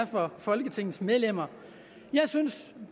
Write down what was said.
for folketingets medlemmer